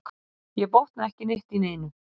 Ég botna ekki neitt í neinu.